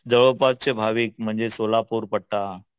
जवळपासचे भाविक म्हणजे सोलापूर पट्टा,